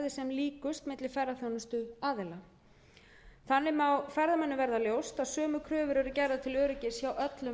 líkust milli ferðaþjónustuaðila þannig má ferðamönnum verða ljóst að sömu kröfur eru gerðar til öryggis hjá öllum